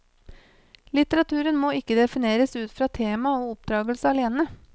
Litteraturen må ikke defineres ut fra tema og oppdragelse alene.